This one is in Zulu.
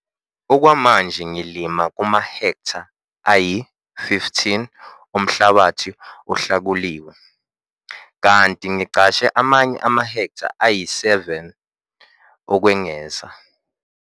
Okwamanje ngilima kumahektha ayi-15 omhlabathi ohlakuliwe, kanti ngiqashe amanye amahektha ayi-7 ukwengeza.